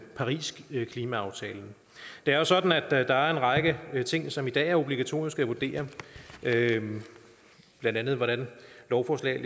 parisklimaaftalen det er jo sådan at der er en række ting som i dag er obligatoriske at vurdere blandt andet hvordan lovforslag